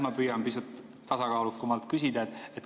Ma püüan pisut tasakaalukamalt küsida.